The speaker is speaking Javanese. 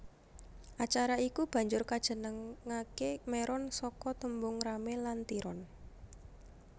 Acara iku banjur kajenengake Meron saka tembung rame lan tiron